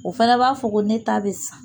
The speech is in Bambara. O fana b'a fɔ ko ne ta bɛ san.